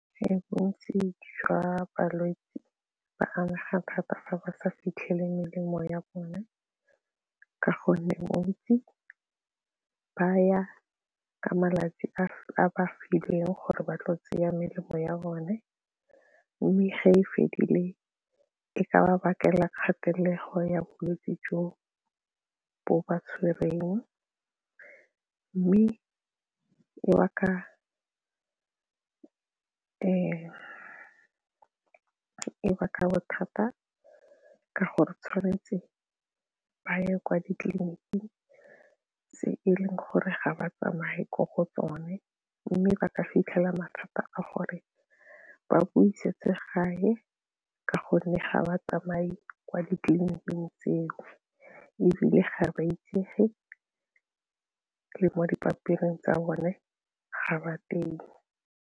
Bontsi jwa balwetse ba amega thata fa ba sa fitlhele melemo ya bone ka gonne bontsi ba ya ka malatsi a fileng gore ba tlo tseya melemo ya bone mme ge e fedile e ka ba bakela kgatelelo ya bolwetse jo bo ba tshwereng mme e baka e ba ka bothata ke goretshwanetse ba ye kwa ditleliniking tse e leng gore ga ba tsamaye ko go tsone mme ba ka fitlhela mathata a gore ba busetse gae ka gonne ga ba tsamaye kwa ditleliniking tseo ebile ga ba itsege mo dipampiri tsa bone ga ba teng.